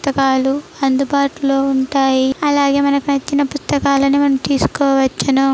పుస్తకాలు అందుబాటులో ఉంటాయి. అలాగే మనకి నచ్చిన పుస్తకాలను మనం తీసుకోవచ్చును.